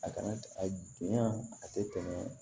A kana a donya a tɛ tɛmɛ